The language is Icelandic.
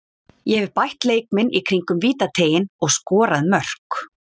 Ég hef bætt leik minn í kringum vítateiginn og skorað mörk.